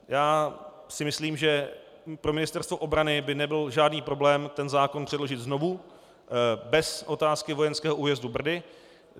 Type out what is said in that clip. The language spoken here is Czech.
Já si myslím, že pro Ministerstvo obrany by nebyl žádný problém ten zákon předložit znovu bez otázky vojenského újezdu Brdy.